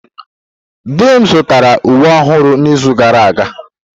Di m zụtara uwe ọhụrụ n'izu gara aga.